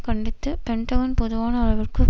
கண்டித்து பென்டகன் பொதுவான அளவிற்கு